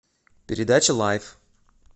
передача лайф